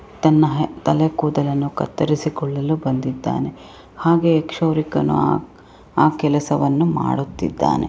ತನ್ನ ತಲೆ ಕೂದಲನ್ನು ಕತ್ತರಿಸಿಕೊಳ್ಳಲು ಬಂದಿದ್ದಾನೆ ಹಾಗೆ ಕ್ಷೌರಿಕನು ಆ ಆ ಕೆಲಸವನ್ನು ಮಾಡುತ್ತಿದ್ದಾನೆ .